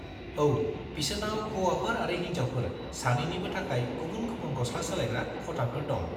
-औ, बिसोरनाव हौवाफोर आरो हिनजावफोर सानैनिबो थाखाय गुबुन-गुबुन गस्ला सोलायग्रा खथाफोर दं।